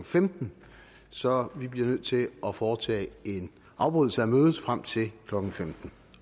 femten så vi bliver nødt til at foretage en afbrydelse af mødet frem til klokken femten